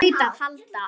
Það hlaut að halda.